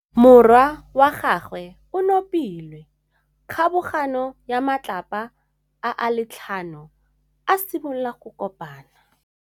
Morwa wa gagwe o nopile kgobokanô ya matlapa a le tlhano, a simolola go konopa.